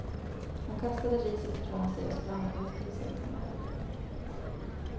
Hon kastade riset ifrån sig och sprang ut i sängkammaren.